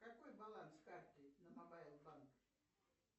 какой баланс карты на мобайл банк